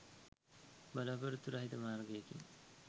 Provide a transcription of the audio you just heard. බලා‍පොරොත්තු රහිත මාර්ගයකින්